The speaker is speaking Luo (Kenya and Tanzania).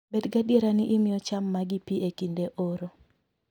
Bed gadier ni imiyo cham magi pi e kinde oro